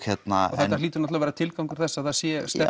þetta hlýtur að vera tilgangur þess að það sé